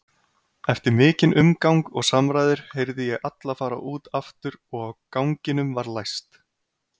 Eftir mikinn umgang og samræður heyrði ég alla fara út aftur og ganginum var læst.